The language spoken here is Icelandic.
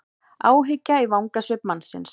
Áhyggja í vangasvip mannsins.